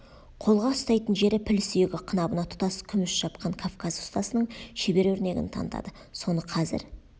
қолға ұстайтын жері піл сүйегі қынабына тұтас күміс шапқан кавказ ұстасының шебер өрнегін танытады соны қазір